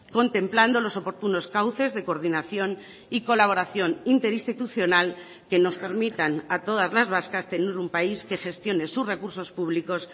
contemplando los oportunos cauces de coordinación y colaboración interinstitucional que nos permitan a todas las vascas tener un país que gestione sus recursos públicos